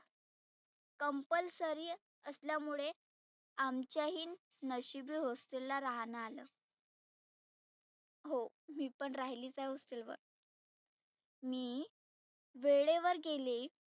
complesory असल्यामुळे आमच्याही नशिबी hostel ला रहानं आलं. हो मी पण राहिलीच आहे hostel वर. मी वेळेवर गेले